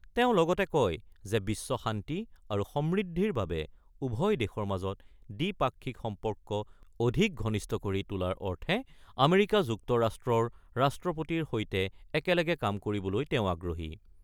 তেওঁ লগতে কয় যে, বিশ্ব শান্তি আৰু সমৃদ্ধিৰ বাবে উভয় দেশৰ মাজত দ্বিপাক্ষিক সম্পৰ্ক অধিক ঘনিষ্ঠ কৰি তোলাৰ অৰ্থে আমেৰিকা যুক্তৰাষ্ট্ৰৰ ৰাষ্ট্ৰপতিৰ সৈতে একেলগে কাম কৰিবলৈ তেওঁ আগ্ৰহী।